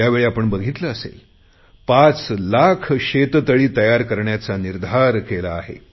यावेळी आपण बघितले असेल पाच लाख शेततळी तयार करण्याचा निर्धार केला आहे